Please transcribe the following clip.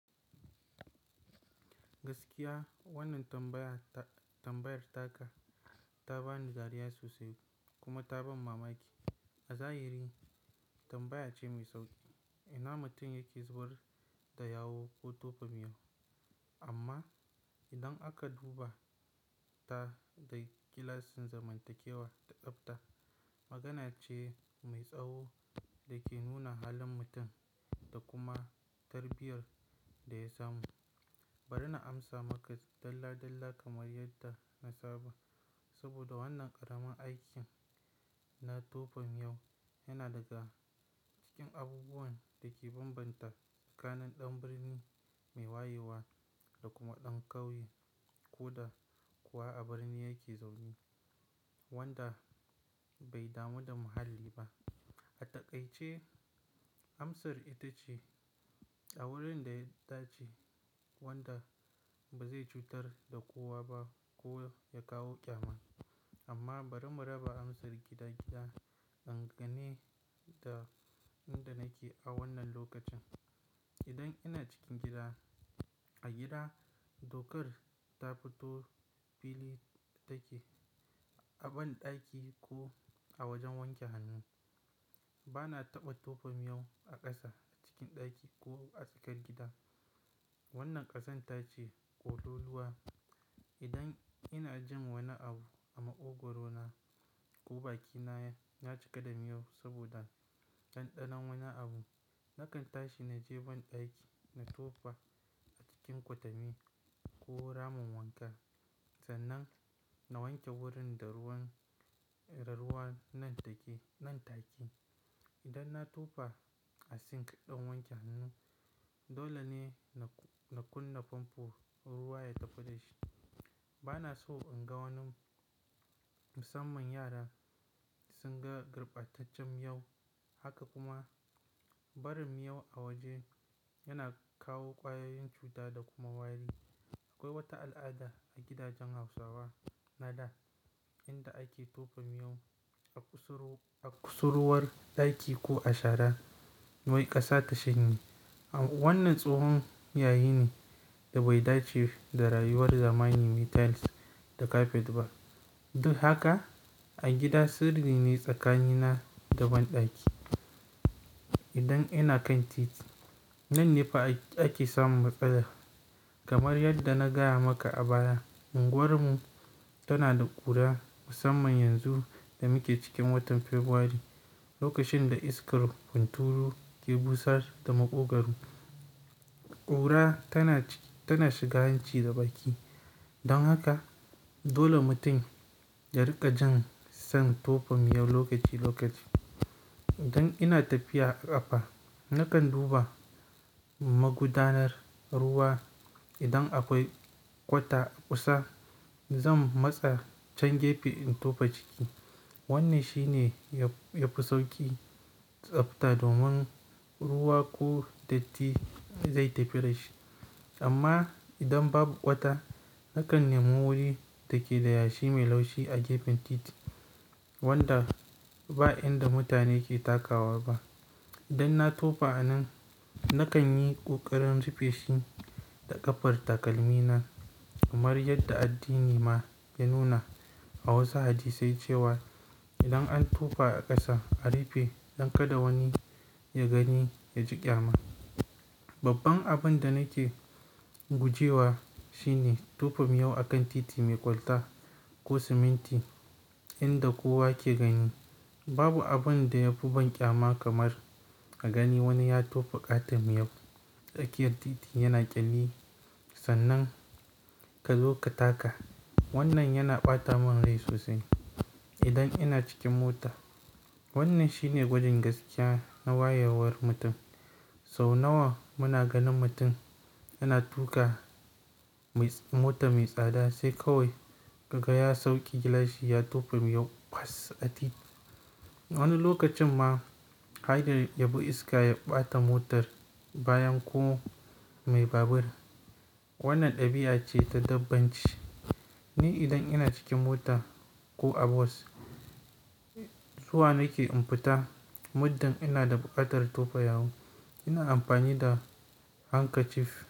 Gaskiya wannan tambaya, tambayar taka ta bani dariya sosai kuma ta ban mamaki. A zahiri tambaya ce mai sauƙi. Ina mutum yake zubar da yawu ko tofa miyau? Amma idan aka duba ta da gilasin zamantakewa da tsabta, magana ce mai tsawo da ke nuna halin mutum da kuma tarbiyyar da ya samu. Bari na amsa maka dalla dalla kamar yadda na saba. Saboda wannan ƙaramin aikin na tofa miyau yana daga cikin abubuwan da ke bambanta tsakanin ɗan birni mai wayewa da kuma ɗan ƙauye ko da kuwa a birni yake zaune wanda bai damu da muhalli ba. A takaice amsar ita ce a wurin da ya dace wanda ba zai cutar da kowa ba ko ya kawo ƙyama. Amma bari mu raba amsar gida gida dangane da inda nake a wannan lokacin. Idan ina cikin gida, a gida dokar ta fito fili take a banɗaki ko a wajen wanke hannu. Bana taɓa tofa miyau a ƙasa a cikin ɗaki ko a tsakar gida. Wannan ƙazanta ce ƙololuwa. Idan ina jin wani abu a maƙogaro na ko bakina ya cika da miyau saboda ɗanɗanon wani abu, nakan tashi na je banɗaki na tofa a cikin kwatami ko ramin wanka. Sannan na wanke wurin da ruwan, da ruwan nan take, nan taki. Idan na tofa a sink ɗin wanke hannu, dole ne na, na kunna famfo ruwa ya tafi da shi. Bana so in ga wani, musamman yara sun ga garɓataccen miyau. Haka kuma barin miyau a waje yana kawo ƙwayoyin cuta da kuma wari. Akwai wata al'ada a gidajen Hausawa na da inda ake tofa miyau a kusurwar ɗaki ko a shara wai ƙasa ta shanye. Wannan tsohon yayi ne da bai dace da rayuwar zamani mai tiles da kafet ba. Duk haka a gida sirri ne tsakanina da banɗaki. Idan ina kan titi nan ne fa ake samu matsala. Kamar yadda na gaya maka a baya, unguwarmu tana da ƙura musamman yanzu da muke cikin watan Fabrairu lokacin da iskar hunturu ke busar da maƙogwro. Ƙura tana, tana shiga hanci da baki. Don haka dole mutum ya riƙa jin san tofa miyau lokaci lokaci. Idan ina tafiya a ƙafa nakan duba magudanar ruwa. Idan akwai kwata a kusa zan matsa can gefe in tofa ciki. Wannan shi ne yafi sauƙi tsafta domin ruwa ko datti zai tafi da shi. Amma idan babu kwata nakan nemi wuri da ke da yashi mai laushi a gefen titi wanda ba inda mutane ke takawa ba. Idan na tofa a nan, nakan yi ƙoƙarin rufe shi da ƙafar takalmina. Kamar yadda addini ma ya nuna a wasu hadisai cewa idan an tofa a ƙasa a rufe don kada wani ya gani ya ji ƙyama. Babban abin da nake gujewa shi ne tofa miyau a kan titi mai kwalta ko siminti inda kowa ke gani. Babu abin da ya fi banƙyama kamar a gani wani ya tofa ƙatar miyau. Tsakiyar titi yana ƙyalli sannan ka zo ka taka. Wannan yana ɓata min rai sosai. Idan ina cikin mota wannan shi ne gwajin gaskiya na wayewar mutum. Sau nawa muna ganin mutum yana tuƙa mota mai tsada sai kawai ka gaya sauƙi gilashi ya tofa miyau bas a titi. Wani lokacin ma haida ya bi iska ya ɓata motar bayan ko mai babur. Wannan ɗabi'a ce ta dabbanci. Ni idan ina cikin mota ko a bus, zuwa nake in fita muddin ina da ƙatar tofa yawu ina amfani da hanka cif.